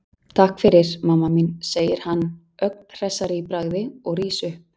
Takk fyrir, mamma mín, segir hann ögn hressari í bragði og rís upp.